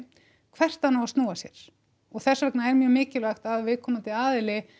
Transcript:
hvert hann á að snúa sér og þess vegna er mjög mikilvægt að viðkomandi aðili